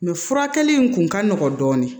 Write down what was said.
Mɛ furakɛli in kun ka nɔgɔn dɔɔnin